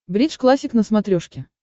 бридж классик на смотрешке